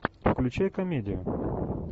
включай комедию